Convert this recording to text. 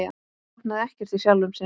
Botnaði ekkert í sjálfum sér.